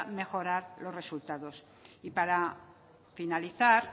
mejorar los resultados y para finalizar